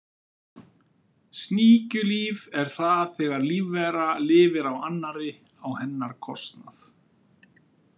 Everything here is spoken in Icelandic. Sníkjulíf er það þegar lífvera lifir á annarri á hennar kostnað.